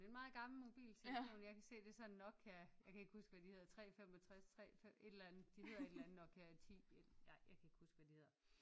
En meget gammel mobiltelefon jeg kan se det er sådan en Nokia jeg kan ikke huske hvad de hedder 3 65 3 et eller andet de hedder et eller andet Nokia 10 ej jeg kan ikke huske hvad de hedder